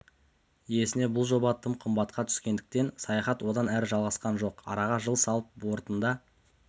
иесіне бұл жоба тым қымбатқа түскендіктен саяхат одан әрі жалғасқан жоқ араға жыл салып бортында